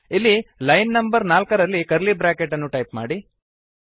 ಇಲ್ಲಿ line number ನಾಲ್ಕರಲ್ಲಿ curly bracket ಅನ್ನು ಟೈಪ್ ಮಾಡಿ